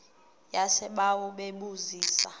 yasebawa bebu zisa